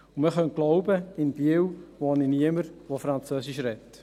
Man könnte glauben, in Biel lebe niemand, der Französisch spricht.